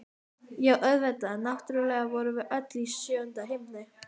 Já, auðvitað, náttúrlega vorum við öll í sjöunda himni!